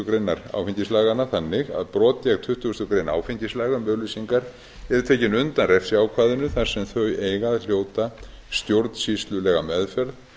greinar áfengislaganna þannig að brot gegn tuttugasta grein áfengislaga um auglýsingar yrði tekin undan refsiákvæðinu þar sem þau eiga að hljóta stjórnsýslulega meðferð